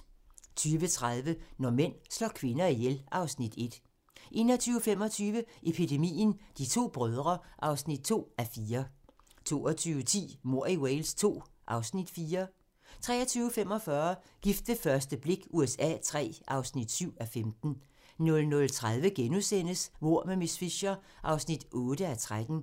20:30: Når mænd slår kvinder ihjel (Afs. 1) 21:25: Epidemien - De to brødre (2:4) 22:10: Mord i Wales II (Afs. 4) 23:45: Gift ved første blik USA III (7:15) 00:30: Mord med miss Fisher (8:13)*